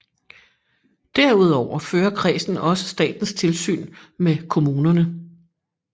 Derudover fører kredsen også statens tilsyn med kommunerne